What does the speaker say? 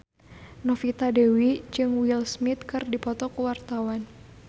Novita Dewi jeung Will Smith keur dipoto ku wartawan